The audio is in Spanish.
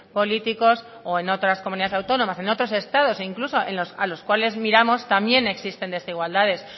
políticos o en otras comunidades autónomas en otros estados e incluso a los cuales miramos también existen desigualdades